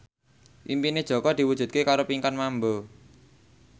impine Jaka diwujudke karo Pinkan Mambo